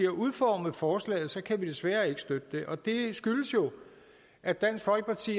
har udformet forslaget kan vi desværre ikke støtte det og det skyldes jo at dansk folkeparti